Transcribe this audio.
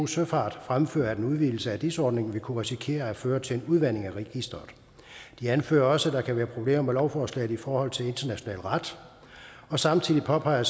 søfart fremfører at en udvidelse af dis ordningen vil kunne risikere at føre til en udvanding af registeret de anfører også at der kan være problemer med lovforslaget i forhold til international ret og samtidig påpeger